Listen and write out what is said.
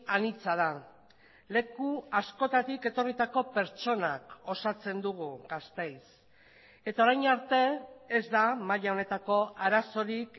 anitza da leku askotatik etorritako pertsonak osatzen dugu gasteiz eta orain arte ez da maila honetako arazorik